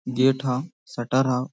gate है shutter है |